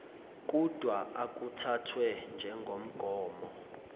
kudwa akuthathwe njengomgomo